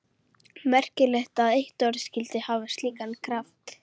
Merkilegt að eitt orð skyldi hafa slíkan kraft.